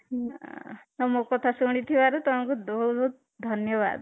ଆଃ ମୋ କଥା ଶୁଣିଥିବାରୁ ତୁମକୁ ଧନ୍ୟବାଦ